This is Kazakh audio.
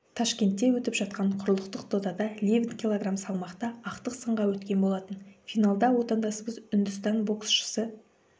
ташкентте өтіп жатқан құрлықтық додада левит кг салмақта ақтық сынға өткен болатын финалда отандасымыз үндістан боксшысы